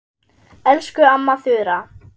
Elsku amma Þura.